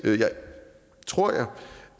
tror jeg